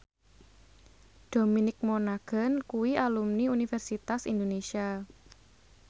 Dominic Monaghan kuwi alumni Universitas Indonesia